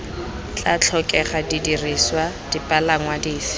tla tlhokega didirisiwa dipalangwa dife